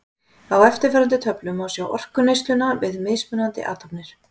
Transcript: Á eftirfarandi töflu má sjá orkuneysluna við mismunandi athafnir.